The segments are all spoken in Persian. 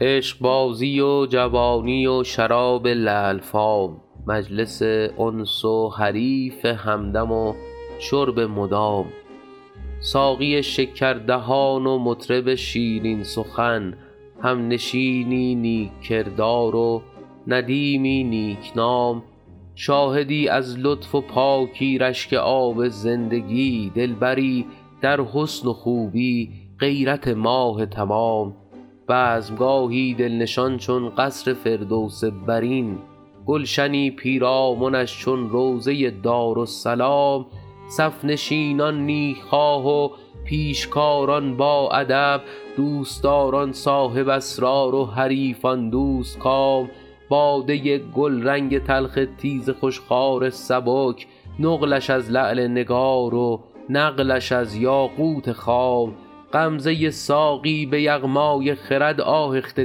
عشقبازی و جوانی و شراب لعل فام مجلس انس و حریف همدم و شرب مدام ساقی شکردهان و مطرب شیرین سخن همنشینی نیک کردار و ندیمی نیک نام شاهدی از لطف و پاکی رشک آب زندگی دلبری در حسن و خوبی غیرت ماه تمام بزم گاهی دل نشان چون قصر فردوس برین گلشنی پیرامنش چون روضه دارالسلام صف نشینان نیک خواه و پیشکاران باادب دوست داران صاحب اسرار و حریفان دوست کام باده گلرنگ تلخ تیز خوش خوار سبک نقلش از لعل نگار و نقلش از یاقوت خام غمزه ساقی به یغمای خرد آهخته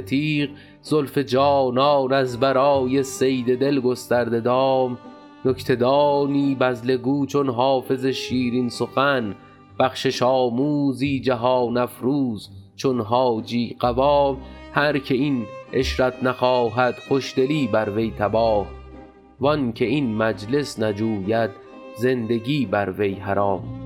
تیغ زلف جانان از برای صید دل گسترده دام نکته دانی بذله گو چون حافظ شیرین سخن بخشش آموزی جهان افروز چون حاجی قوام هر که این عشرت نخواهد خوش دلی بر وی تباه وان که این مجلس نجوید زندگی بر وی حرام